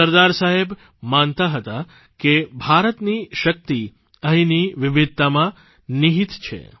સરદાર સાહેબ માનતા હતા કે ભારતની શક્તિ અહીંની વિવિધતામાં નિહિત છે